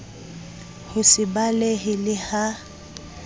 ho se balehe le ha